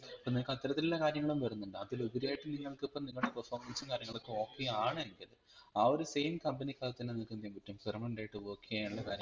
അപ്പം നിങ്ങൾകത്തരത്തിലുള്ള കാര്യങ്ങളും വരുന്നുണ്ട് അതിലുപരിയായിട്ട് നിങ്ങൾക്കിപ്പം നിങ്ങൾടെ performance ഉം കാര്യങ്ങളൊക്കെ okay ആണെങ്കിൽ ആ ഒരു same company ക് അകത്തു തന്നെ നിങ്ങൾക് എന്തയ്യാൻ പറ്റും permanent ആയിട്ട് work എയ്യാനുള്ള കാര്യങ്ങൾ